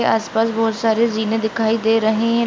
आसपास बहुत सारी जीमे दिखाई दे रही--